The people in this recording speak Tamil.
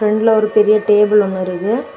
உள்ள ஒரு பெரிய டேபிள் ஒன்னு இருக்கு.